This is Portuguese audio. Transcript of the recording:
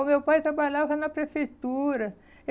O meu pai trabalhava na prefeitura.